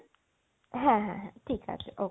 হ্যাঁ হ্যাঁ হ্যাঁ, ঠিক আছে OK